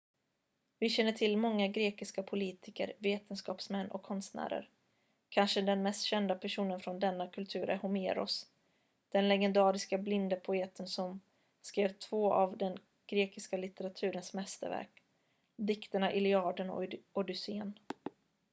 vi känner till många grekiska politiker vetenskapsmän och konstnärer kanske den mest kända personen från denna kultur är homeros den legendariske blinde poeten som skrev två av den grekiska litteraturens mästerverk dikterna iliaden och odysséen